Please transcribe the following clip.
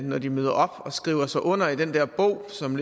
når de møder op og skriver sig under i den der bog som